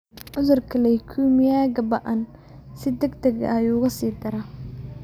Cudurka leukemia-ga ba'an si degdeg ah ayuu uga sii daraa.